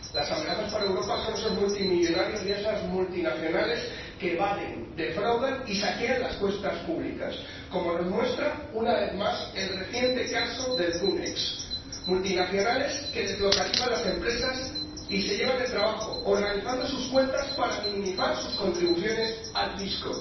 Las amenazas para Europa son esos multimillonarios y esas multinacionales que evaden, defraudan y saquean las cuentas públicas, como nos muestra una vez más el reciente caso de los archivos cum ex multinacionales que deslocalizan las empresas y se llevan el trabajo, organizando sus cuentas para minimizar sus contribuciones al fisco.